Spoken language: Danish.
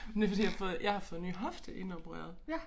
Men det fordi jeg fået jeg har fået ny hofte indopereret